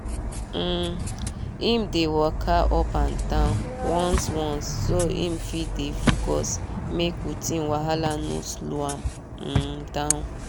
um him dey walka up and down once once so him fit dey focus make routine wahala no slow am um down